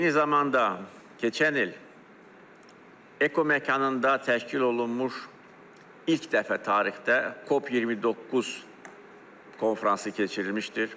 Eyni zamanda, keçən il eko məkanında təşkil olunmuş ilk dəfə tarixdə COP29 konfransı keçirilmişdir.